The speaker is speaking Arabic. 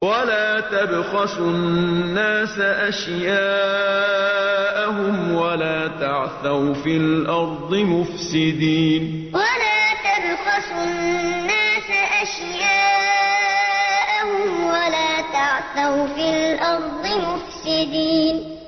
وَلَا تَبْخَسُوا النَّاسَ أَشْيَاءَهُمْ وَلَا تَعْثَوْا فِي الْأَرْضِ مُفْسِدِينَ وَلَا تَبْخَسُوا النَّاسَ أَشْيَاءَهُمْ وَلَا تَعْثَوْا فِي الْأَرْضِ مُفْسِدِينَ